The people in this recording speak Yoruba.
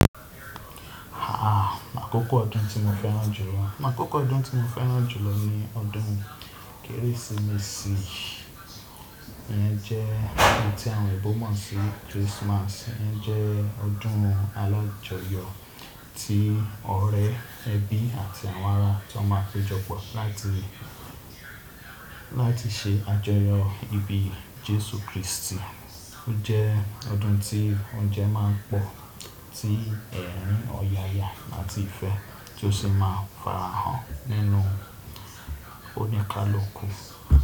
Aà, àkókò ọdún tí mo fẹ́ràn jùlọ. Àkókò ọdún tí mo fẹ́ràn jùlọ ni ọdún Kérésìmesì. Éyi jẹ́ ohun tí àwọn òyìnbó mọ̀ sí Christmas. Ó jẹ́ ọdún alájọyọ̀ ti ọ̀rẹ́, ẹbí àti àwọn ará tó máa péjọ pọ̀ láti, láti se àjọyọ̀ ìbí Jésù Kristi. Ó jẹ́ ọdún tí oúnjẹ máa ń pọ̀, tí ẹ̀rín, ọ̀yàyà àti ìfẹ́ tí ó sì máa ń farahàn nínú ónikalukù.